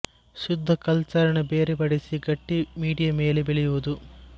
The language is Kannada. ಶುಧ ಕಲ್ಚರ್ ನ ಬೇರೆ ಪಡಿಸಿ ಗಟ್ಟಿ ಮೀಡಿಯ ಮೇಲೆ ಬೆಳೆಯುವುದು